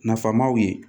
Nafamaw ye